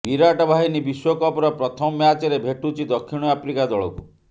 ବିରାଟ ବାହିନୀ ବିଶ୍ୱକପର ପ୍ରଥମ ମ୍ୟାଚରେ ଭେଟୁଛି ଦକ୍ଷିଣ ଆଫ୍ରିକା ଦଳକୁ